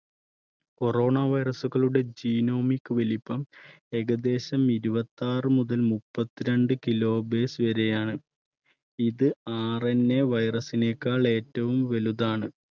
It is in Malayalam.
corona virus കളുടെ genomic വലുപ്പം ഏകദേശം ഇരുപത്താറ് മുതൽ മുപ്പത്തിരണ്ട് kilo base വരെയാണ് ഇത് RNAvirus നെകാൾ ഏറ്റവും വലുതാണ്